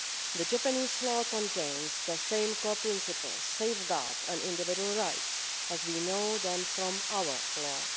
The Japanese law contains the same core principles, safeguards and individual rights as we know them from our law.